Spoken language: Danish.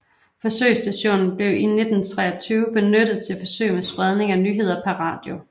Forsøgsstationen blev i 1923 benyttet til forsøg med spredning af nyheder per radio